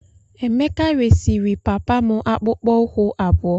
Emeka resịrị papa m akpụkpọ ụkwụ abụọ.